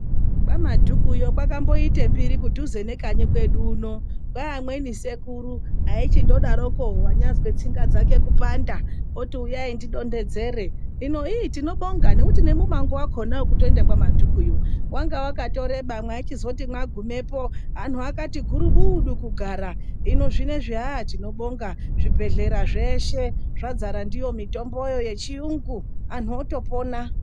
Kwamadhuku kwakamboita mbiri kudhuze nekanyi kwedu uno kwai amweni sekuru vaichingodaroko anyazwe tsinga dzake kupanda oti uyai tidondedzere inotinobonga ngekuti mumango wakona wekuenda kwamadhukuyo wanga wakareba waiti wagumeyo vantu vanenge vakati guburudu kugara hino zvinezvi haaa tinobonga zvibhedhlera zveshe zvadzara ndiyo mitombo iyi yechirungu andu otopona.